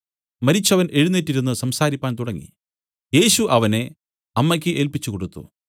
മരിച്ചവൻ എഴുന്നേറ്റിരുന്ന് സംസാരിപ്പാൻ തുടങ്ങി യേശു അവനെ അമ്മയ്ക്ക് ഏല്പിച്ചുകൊടുത്തു